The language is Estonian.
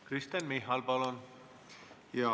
Kristen Michal, palun!